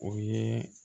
O ye